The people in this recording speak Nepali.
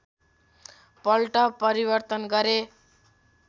पल्ट परिवर्तन गरे